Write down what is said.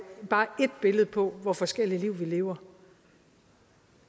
bare et billede på hvor forskellige liv vi lever